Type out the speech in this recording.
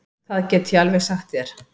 Það get ég alveg sagt þér.